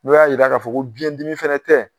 N'u y'a jira k'a fɔ ko biɲɛdimi fana tɛ